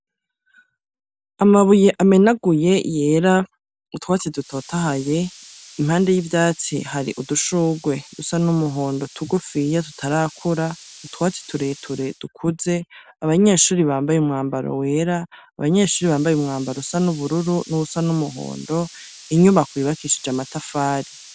Amabuye amenaguye yera, utwatsi dutotahaye, impande y'ivyatsi hari udushurwe dusa n'umuhondo tugufiya tutarakura, utwatsi tureture dukuze, abanyeshuri bambaye umwambaro wera, abanyeshuri bambaye umwambaro usa n'ubururu n'uwusa n'umuhondo, inyubako yubakishije amatafari.